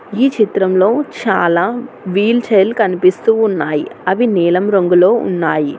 ఈ చిత్రం లో చాలా వీల్ చైర్లు కనిపిస్తున్నాయ్ అవి నీలం రంగులో ఉన్నాయి.